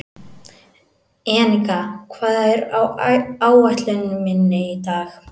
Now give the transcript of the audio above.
Enika, hvað er á áætluninni minni í dag?